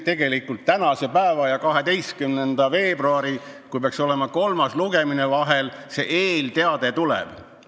Tegelikult võib arvata, et tänase päeva ja 12. veebruari vahel – siis peaks olema kolmas lugemine – asjaomane eelteade tuleb.